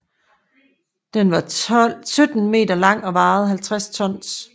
Den var 17 meter lang og vejede 50 tons